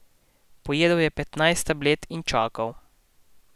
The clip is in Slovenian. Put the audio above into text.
Pojedel je petnajst tablet in čakal.